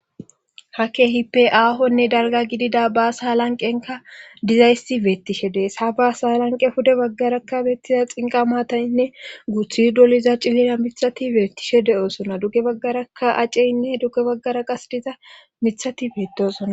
ha keehippe aahonne darga gidida baasa lanqenka dizaysi beettishe dees ha baasa lanqe huda baggarakka beettiza xinqa maataynne guthi doliza cillina mithati beettishe de7osona dugge baggaraka aceynne dugge baggara qas diza mithati beedosona